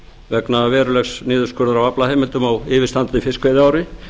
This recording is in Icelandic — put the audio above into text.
vegna verulegs niðurskurðar á aflaheimildum á yfirstandandi fiskveiðiári